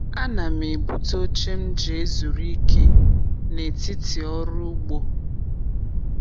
Ana m ebute oche m ji ezuru ike n’etiti ọrụ ugbo.